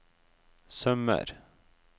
sømmer